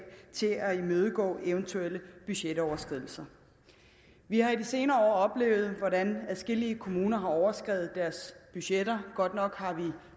til at imødegå eventuelle budgetoverskridelser vi har i de senere år oplevet hvordan adskillige kommuner har overskredet deres budgetter godt nok har vi